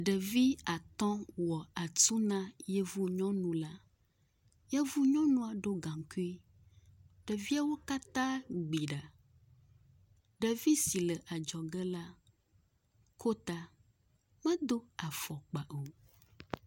Ɖevi atɔ̃ wɔ atu na yevu nyɔnu la, yevu nyɔnua ɖo gaŋkui, ɖeviawo katã gbi ɖa. Ɖevisi le adzɔge la, ko ta, medo afɔkpa o.